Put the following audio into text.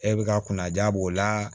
E bi ka kunna ja b'o la